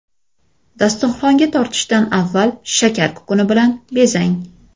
Dasturxonga tortishdan avval shakar kukuni bilan bezang.